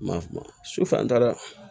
Ma sufɛ an taara